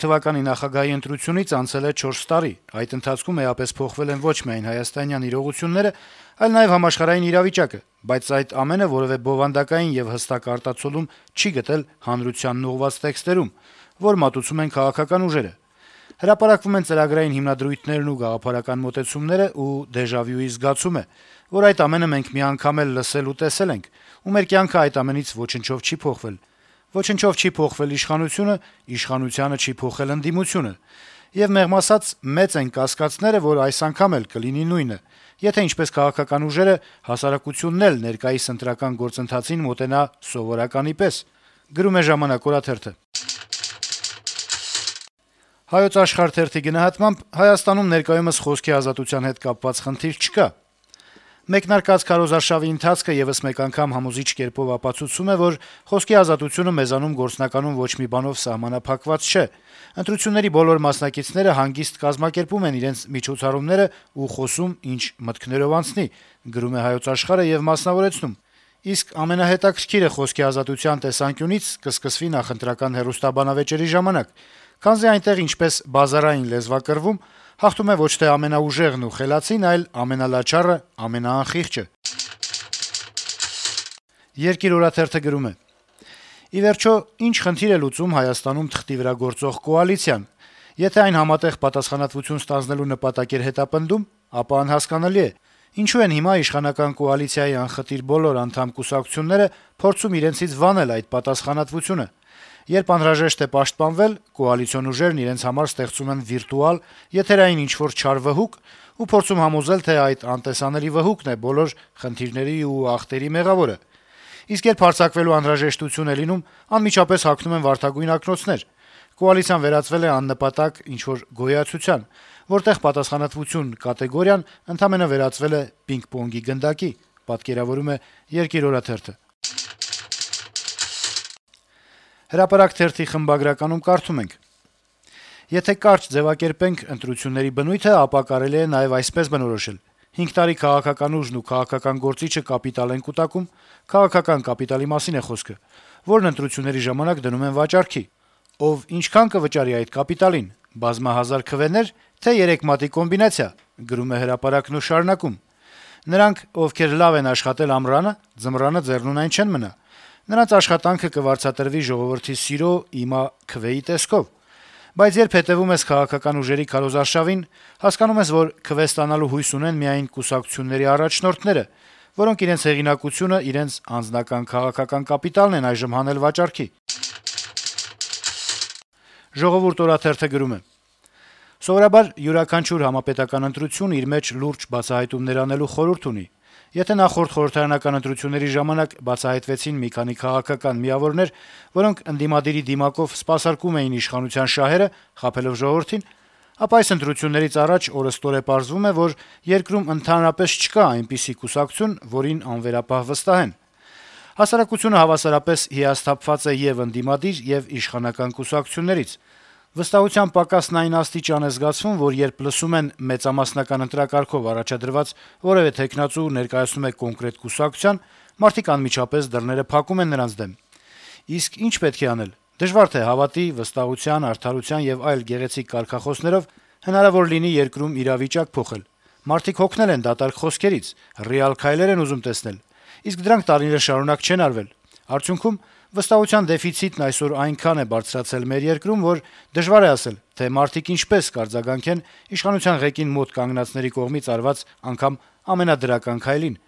թվականի նախագահի ընտրությունից անցել է չորս տարի, այդ ընթացքում էապես փոխվել են ոչ միայն հայաստանյան իրողությունները, այլ նաեւ համաշխարհային իրավիճակը, բայց այդ ամենը որեւէ բովանդակային եւ հստակ արտացոլում չի գտել հանրությանն ուղղված տեքստերում, որ մատուցում են քաղաքական ուժերը։ Հրապարակվում են ծրագրային հիմնադրույթներն ու գաղափարական մոտեցումները, ու դեժավյուի զգացում է` որ այդ ամենը մենք մի անգամ էլ լսել ու տեսել ենք, ու մեր կյանքը այդ ամենից ոչնչով չի փոխվել, ոչնչով չի փոխել իշխանությունը, իշխանությանը չի փոխել ընդդիմությունը։ Եվ մեղմ ասած` մեծ են կասկածները, որ այս անգամ էլ կլինի նույնը, եթե ինչպես քաղաքական ուժերը, հասարակությունն էլ ներկայիս ընտրական գործընթացին մոտենա սովորականի պես»։ «Հայոց աշխարհ» թերթի գնահատմամբ` Հայաստանում ներկայումս խոսքի ազատության հետ կապված խնդիր չկա. - «Մեկնարկած քարոզարշավի ընթացքը եւս մեկ անգամ համոզիչ կերպով ապացուցում է, որ խոսքի ազատությունը մեզանում գործնականում ոչ մի բանով սահմանափակված չէ։ Ընտրությունների բոլոր մասնակիցները հանգիստ կազմակերպում են իրենց միջոցառումներն ու խոսում՝ ինչ մտքներով անցնի»։ «Իսկ ամենահետաքրքիրը խոսքի ազատության տեսանկյունից կսկսվի նախընտրական հեռուստաբանավեճերի ժամանակ, քանզի այնտեղ, ինչպես բազարային լեզվակռվում, հաղթում է ոչ թե ամենաուժեղն ու խելացին, այլ ամենալաչառը, ամենաանխիղճը», - մասնավորեցնում է թերթը: «Երկիր»-ը գրում է. - «Ի վերջո, ի՞նչ խնդիր է լուծում Հայաստանում թղթի վրա գործող կոալիցիան: Եթե այն համատեղ պատասխանատվություն ստանձնելու նպատակ էր հետապնդում, ապա անհասկանալի է` ինչո՞ւ են հիմա իշխանական կոալիցիայի անխտիր բոլոր անդամ-կուսակցությունները փորձում իրենցից վանել այդ պատասխանատվությունը: Երբ անհրաժեշտ է պաշտպանվել, կոալիցիոն ուժերն իրենց համար ստեղծում են վիրտուալ, եթերային ինչ-որ չար վհուկ ու փորձում համոզել, թե այդ անտեսանելի վհուկն է բոլոր խնդիրների ու ախտերի մեղավորը: Իսկ երբ հարձակվելու անհրաժեշտություն է լինում, անմիջապես հագնում են վարդագույն ակնոցներ: Կոալիցիան վերածվել է աննպատակ ինչ-որ գոյացության, որտեղ «պատասխանատվություն» կատեգորիան ընդամենը վերածվել է պինգ-պոնգի գնդակի»: «Հրապարակ» թերթի խմբագրականում կարդում ենք. - «Եթե կարճ ձեւակերպենք ընտրությունների բնույթը, ապա կարելի է նաեւ այսպես բնորոշել. հինգ տարի քաղաքական ուժն ու քաղաքական գործիչը կապիտալ են կուտակում (քաղաքական կապիտալի մասին է խոսքը), որն ընտրությունների ժամանակ դնում են վաճառքի։ Ով, ինչքան կվճարի այդ կապիտալին` բազմահազար քվենե՞ր, թե՞ երեք մատի կոմբինացիա։ Նրանք, ովքեր լավ են աշխատել «ամռանը», ձմռանը ձեռնունայն չեն մնա` նրանց աշխատանքը կվարձատրվի ժողովրդի սիրո, իմա` քվեի տեսքով։ Բայց երբ հետեւում ես քաղաքական ուժերի քարոզարշավին, հասկանում ես, որ քվե ստանալու հույս ունեն միայն կուսակցությունների առաջնորդները, որոնք իրենց հեղինակությունը, իրենց անձնական քաղաքական կապիտալն են այժմ հանել վաճառքի»։ «Ժողովուրդ» օրաթերթը գրում է. - «Սովորաբար յուրաքանչյուր համապետական ընտրություն իր մեջ լուրջ բացահայտումներ անելու խորհուրդ ունի: Եթե նախորդ խորհրդարանական ընտրությունների ժամանակ բացահայտվեցին մի քանի քաղաքական միավորներ, որոնք ընդդիմադիրի դիմակով սպասարկում էին իշխանության շահերը` խաբելով ժողովրդին, ապա այս ընտրություններից առաջ օրըստօրե պարզվում է, որ երկրում ընդհանրապես չկա այնպիսի կուսակցություն, որին անվերապահ վստահեն: Հասարակությունը հավասարապես հիասթափված է ե’ւ ընդդիմադիր, ե’ւ իշխանական կուսակցություններից: Վստահության պակասն այն աստիճան է զգացվում, որ երբ լսում են, որ մեծամասնական ընտրակարգով առաջադրված որեւէ թեկնածու ներկայացնում է կոնկրետ կուսակցություն, մարդիկ անմիջապես փակում են դռները նրանց դեմ: Իսկ ի՞նչ պետք է անել: Դժվար թե հավատի, վստահության, արդարության եւ այլ գեղեցիկ կարգախոսներով հնարավոր լինի երկրում իրավիճակ փոխել: Մարդիկ հոգնել են դատարկ խոսքերից, ռեալ քայլեր ուզում տեսնել: Իսկ դրանք տարիներ շարունակ չեն արվել: Արդյունքում վստահության դեֆիցիտն այսօր այնքան է բարձրացել մեր երկրում, որ դժվար է ասել, թե մարդիկ ինչպես կարձագանքեն իշխանության ղեկին մոտ կանգնածների կողմից արված անգամ ամենադրական քայլին»: